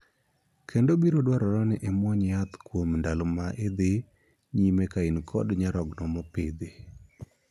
Kendo biro dwarore ni imuony yadh kuom ndalo ma idhi nyime ka in kod nyarogno mopidhi.